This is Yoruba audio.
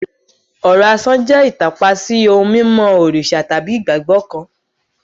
Ọ̀rọ̀ asán jẹ́ ìtàpá sí ohun mímọ́ òrìṣà tàbí ìgbàgbọ́ kan.